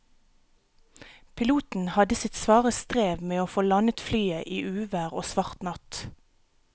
Piloten hadde sitt svare strev med å få landet flyet i uvær og svart natt.